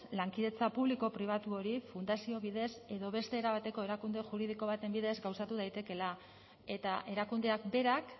lankidetza publiko pribatu hori fundazio bidez edo beste era bateko erakunde juridiko baten bidez gauzatu daitekeela eta erakundeak berak